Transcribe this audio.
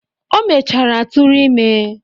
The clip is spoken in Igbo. O mechara tụrụ ime.